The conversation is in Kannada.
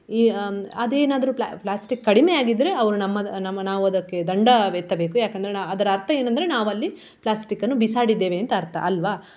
ಈ ಹ್ಮ್ ಅದೇನಾದ್ರು pla~ plastic ಕಡಿಮೆ ಆಗಿದ್ರೆ ಅವ್ರು ನಮ್ಮದು ನಮ್ಮ ನಾವು ಅದಕ್ಕೆ ದಂಡವೆತ್ತಬೇಕು ಯಾಕಂದ್ರೆ ನಾ~ ಅದ್ರ ಅರ್ಥ ಏನಂದ್ರೆ ನಾವು ಅಲ್ಲಿ plastic ಅನ್ನು ಬಿಸಾಡಿದ್ದೇವೆ ಅಂತ ಅರ್ಥ ಅಲ್ವಾ.